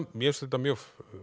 mér fannst þetta mjög